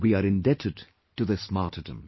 We are indebted to this martyrdom